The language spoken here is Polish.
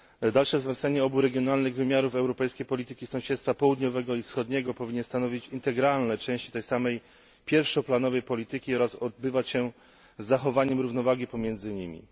Dalsze wzmocnienie obu regionalnych wymiarów Europejskiej Polityki Sąsiedztwa południowego i wschodniego powinno stanowić integralną część tej samej pierwszoplanowej polityki oraz odbywać się z zachowaniem równowagi pomiędzy nimi.